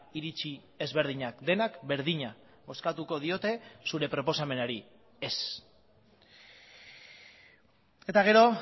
iritzi ezberdinak denak berdina bozkatuko diote zure proposamenari ez eta gero